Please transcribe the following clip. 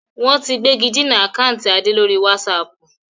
Wọ́n ti gbégidinà àkántì Adé lórí wásààpù